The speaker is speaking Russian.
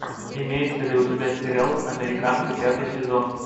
имеется ли у тебя сериал американцы пятый сезон